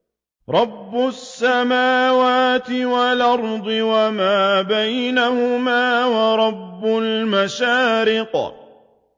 رَّبُّ السَّمَاوَاتِ وَالْأَرْضِ وَمَا بَيْنَهُمَا وَرَبُّ الْمَشَارِقِ